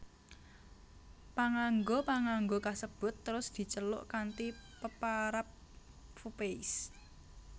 Panganggo panganggo kasebut terus diceluk kanti peparab fupeis